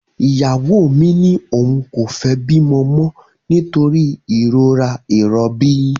Ìyàwó mi ní òun kò fẹ́ bímọ mọ nítorí ìrora ìrọbí